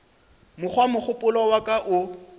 mokgwa mogopolo wa ka o